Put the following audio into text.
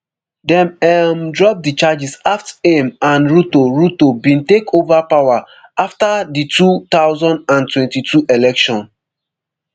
dem um drop di charges aft aim and ruto ruto bin take ova power afta di two thousand and twenty-two election